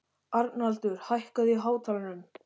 Arnaldur, hækkaðu í hátalaranum.